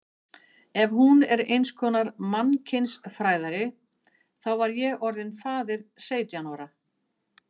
Ef hún er einskonar mannkynsfræðari þá var ég orðinn faðir seytján ára.